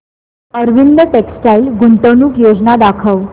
Arvind textile गुंतवणूक योजना दाखव